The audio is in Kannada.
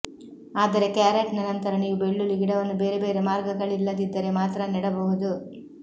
ಆದರೆ ಕ್ಯಾರೆಟ್ನ ನಂತರ ನೀವು ಬೆಳ್ಳುಳ್ಳಿ ಗಿಡವನ್ನು ಬೇರೆ ಬೇರೆ ಮಾರ್ಗಗಳಿಲ್ಲದಿದ್ದರೆ ಮಾತ್ರ ನೆಡಬಹುದು